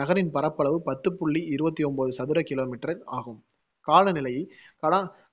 நகரின் பரப்பளவு பத்து புள்ளி இருவத்தி ஒன்பது சதுர kilometer ஆகும்.